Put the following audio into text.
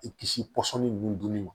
I kisi pɔsɔni ninnu dunni ma